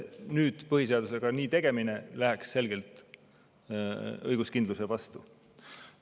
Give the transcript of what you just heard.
Nüüd põhiseadusega nii tegemine läheks selgelt õiguskindluse vastu.